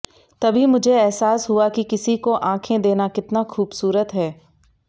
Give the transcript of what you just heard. तभी मुझे एहसास हुआ कि किसी को आँखे देना कितना खूबसूरत है